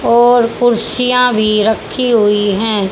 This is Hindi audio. और कुर्सियां भी रखी हुई है।